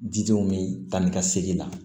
Didenw bɛ taa ni ka segin la